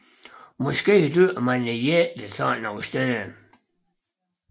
Måske dyrkede man jætterne sådanne steder